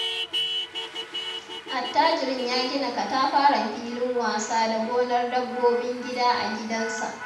Attajirin ya gina katafaren filin wasa da gonar dabbobin gida a gidansa.